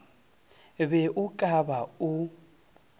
be o ka ba o